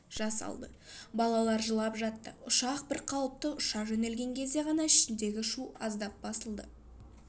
жасалды балалар жылап жатты ұшақ бір қалыпты ұша жөнелген кезде ғана ішіндегі шу аздап басылды